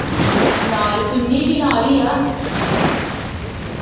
ਨਾਲ ਚੂਨੀ ਵੀ ਨਾਲ ਹੀ ਆ